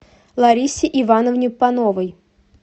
ларисе ивановне пановой